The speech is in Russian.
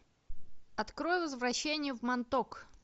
открой возвращение в монток